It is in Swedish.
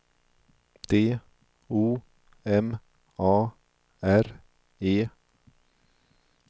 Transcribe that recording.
D O M A R E